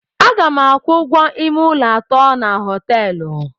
Aga m akwụ ụgwọ ime ụlọ atọ na hoteelu